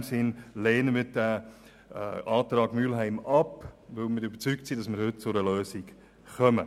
In diesem Sinn lehnen wir den Antrag Mühlheim ab, weil wir überzeugt sind, heute zu einer Lösung zu kommen.